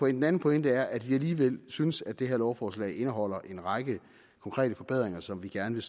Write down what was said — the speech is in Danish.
den anden pointe er at vi alligevel synes at det her lovforslag indeholder en række konkrete forbedringer som vi gerne